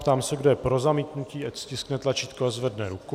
Ptám se, kdo je pro zamítnutí, ať stiskne tlačítko a zvedne ruku.